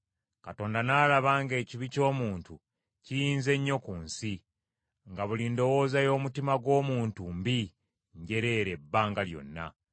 Mukama n’alaba ng’ekibi ky’omuntu kiyinze nnyo ku nsi; nga buli ndowooza y’omutima gw’omuntu mbi njereere ebbanga lyonna.